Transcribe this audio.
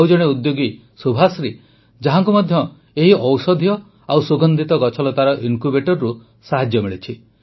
ଆଉ ଜଣେ ଉଦ୍ୟୋଗୀ ସୁଭାଶ୍ରୀ ଯାହାଙ୍କୁ ମଧ୍ୟ ଏହି ଔଷଧୀୟ ଓ ସୁଗନ୍ଧିତ ଗଛଲତାର ଇନକ୍ୟୁବେଟରରୁ ସାହାଯ୍ୟ ମିଳିଛି